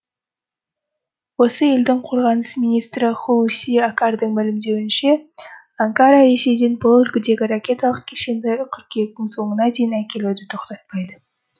осы елдің қорғаныс министрі ху си акардың мәлімдеуінше анкара ресейден бұл үлгідегі ракеталық кешенді қыркүйектің соңына дейін әкелуді тоқтатпайды